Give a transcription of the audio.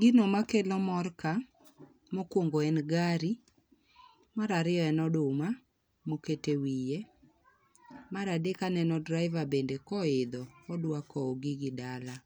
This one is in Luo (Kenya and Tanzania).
Gino makelo mor ka, mokuongo en gari, mar ariyo en oduma moket e wiye, mar aek aneno driver bende koidho odwa kow gigi dala.